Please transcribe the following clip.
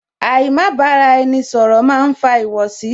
Àì má bára ẹni ṣọ̀rọ̀ máa ń fa ìwọ̀sí